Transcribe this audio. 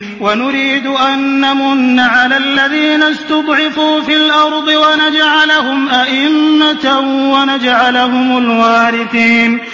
وَنُرِيدُ أَن نَّمُنَّ عَلَى الَّذِينَ اسْتُضْعِفُوا فِي الْأَرْضِ وَنَجْعَلَهُمْ أَئِمَّةً وَنَجْعَلَهُمُ الْوَارِثِينَ